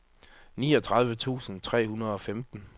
niogtredive tusind tre hundrede og femten